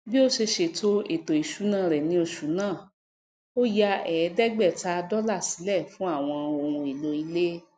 bí ó se sètò ètò ìsúná rè ní osù náà ó ya èédégbèta dólà sílè fún àwon ohun èlò ilé